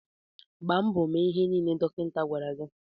Gbaa mbọ mee ihe nile dọkịta gwara gị.